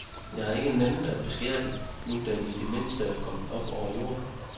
Jeg har ikke nænnet at beskære den, nu den i det mindste var kommet op over jorden.